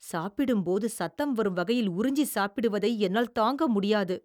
சாப்பிடும்போது சத்தம் வறும் வகையில் உறிஞ்சிச் சாப்பிடுவதை என்னால் தாங்க முடியாது.